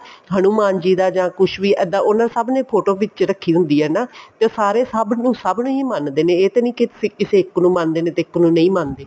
ਹਨੁਮਾਨ ਜੀ ਦਾ ਜਾਂ ਕੁੱਝ ਵੀ ਇੱਦਾਂ ਸਭ ਨੇ photo ਵਿੱਚ ਰੱਖੀ ਹੁੰਦੀ ਆ ਨਾ ਤੇ ਸਾਰੇ ਸਭ ਨੂੰ ਸਭ ਨੂੰ ਮੰਨਦੇ ਨੇ ਇਹ ਤਾਂ ਨੀ ਕਿਸੇ ਇੱਕ ਨੂੰ ਮੰਨਦੇ ਨੇ ਇੱਕ ਨੂੰ ਨਹੀਂ ਮੰਨਦੇ